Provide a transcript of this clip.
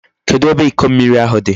Kedu ebe Iko mmiri ahu di?